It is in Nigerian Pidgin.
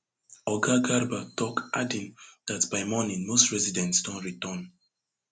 oga garba tok adding dat by morning most residents don return